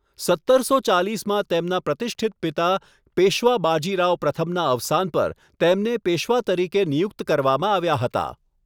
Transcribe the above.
સત્તરસો ચાલિસમાં તેમના પ્રતિષ્ઠિત પિતા પેશવા બાજીરાવ પ્રથમનાં અવસાન પર તેમને પેશવા તરીકે નિયુક્ત કરવામાં આવ્યા હતા.